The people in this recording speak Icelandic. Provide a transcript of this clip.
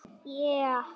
Ægisbyggð